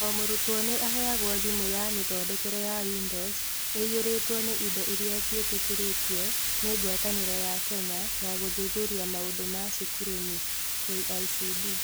O mũrutwo nĩ aheagwo thimũ ya mĩthondekere ya Windows ĩiyũrĩtwo na indo iria ciĩtĩkĩrĩtio nĩ Ngwatanĩro ya Kenya ya Gũthuthuria Maũndũ ma Cukurunĩ (KICD).